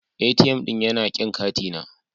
ATM ɗin yana kin katina.